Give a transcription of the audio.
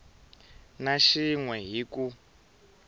na xin we hi ku